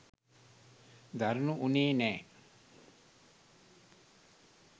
දරුණු වුණේ නෑ.